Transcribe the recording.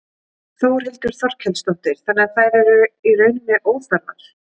Þórhildur Þorkelsdóttir: Þannig að þær eru í rauninni óþarfar?